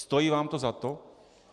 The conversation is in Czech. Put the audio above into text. Stojí vám to za to?